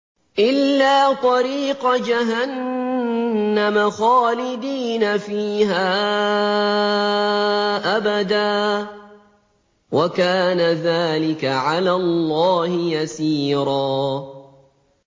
إِلَّا طَرِيقَ جَهَنَّمَ خَالِدِينَ فِيهَا أَبَدًا ۚ وَكَانَ ذَٰلِكَ عَلَى اللَّهِ يَسِيرًا